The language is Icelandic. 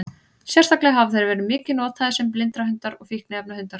Sérstaklega hafa þeir verið mikið notaðir sem blindrahundar og fíkniefnahundar.